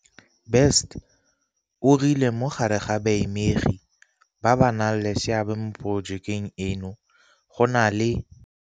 Best o rile mo gare ga baamegi ba ba nang le seabe mo porojekeng eno go na le